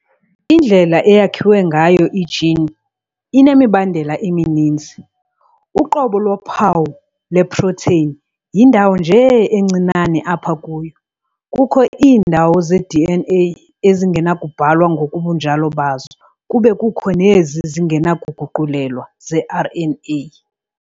Indlela eyakhiwe ngayo i-gene inemibandela emininzi- Uqobo lophawu lwe-protein yindawo nje encinane apha kuyo. Kukho iindawo ze-DNA ezingenakubhalwa ngobunjalo bazo kube kukho nezi zingenakuguqulelwa ze-RNA